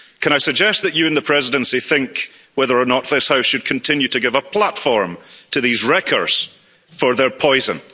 Can I suggest that you and the Presidency think whether or not this House should continue to give a platform to these wreckers for their poison?